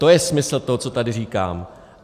To je smysl toho, co tady říkám.